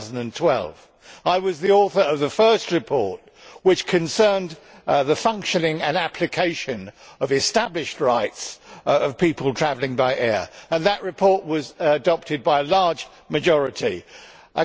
2012. I was the author of the first report which concerned the functioning and application of established rights of people travelling by air and that report was adopted by a large majority.